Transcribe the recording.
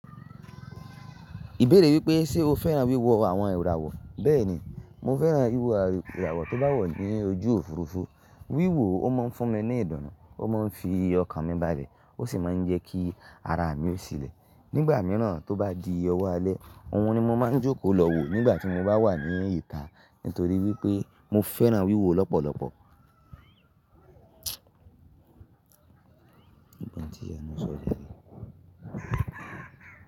Ìbéèrè wípé ṣe o fẹ́ràn wíwo àwon iràwọ̀? Béèni, mo fẹ́ràn wíwo iràwọ̀ tó bá wọ̀ ní ojú òfurufú. Wíwo ó mọ̀ n fún mi ní ìdunù, ó mọ̀ n fi ọkàn mí bá lẹ, ó sì má n jẹ́ kí ara mi o silẹ̀. Nígbà míràn tó bá di ọwọ́ alẹ́, oun ni mo má n jókòó lọ wò nígbàtí mo bá wà ní ìta nítorí wípé mo fẹ́ràn wíwo ọ́ lọ́pọ̀lọpọ̀. Nígbàtí ìyá mi ṣọ̀ niyen.